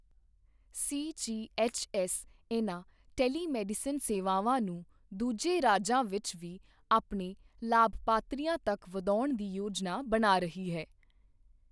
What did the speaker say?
CGHS ਇਨ੍ਹਾਂ telemedicine ਸੇਵਾਵਾਂ ਨੂੰ ਦੂਜੇ ਰਾਜਾਂ ਵਿੱਚ ਵੀ ਆਪਣੇ ਲਾਭਪਾਤਰੀਆਂ ਤੱਕ ਵਧਾਉਣ ਦੀ ਯੋਜਨਾ ਬਣਾ ਰਹੀ ਹੈ।